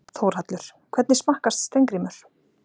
Þórhallur: Hvernig smakkast Steingrímur?